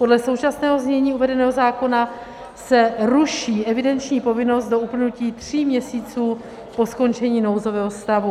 Podle současného znění uvedeného zákona se ruší evidenční povinnost do uplynutí tří měsíců po skončení nouzového stavu.